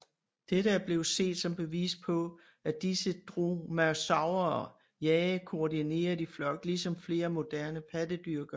Dette er blevet set som bevis på at disse dromaeosaurer jagede koordineret i flok ligesom flere moderne pattedyr gør